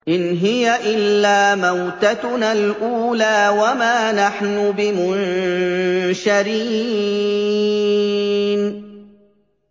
إِنْ هِيَ إِلَّا مَوْتَتُنَا الْأُولَىٰ وَمَا نَحْنُ بِمُنشَرِينَ